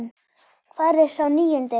Hvar er sá níundi?